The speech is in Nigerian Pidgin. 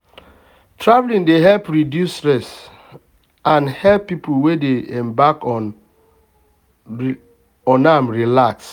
traveling dey help reduce stress and help people wey dey embark on am relax.